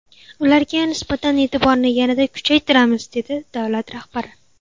Ularga nisbatan e’tiborni yanada kuchaytiramiz”, dedi davlat rahbari.